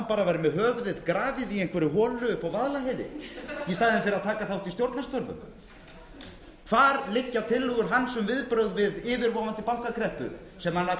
hafi hann verið með höfuðið grafið í einhverri holu upp á vaðlaheiði í staðinn fyrir að taka þátt í stjórnarstörfum hvar liggja tillögur hans um viðbrögð við yfirvofandi bankakreppu sem hann ætlar að kenna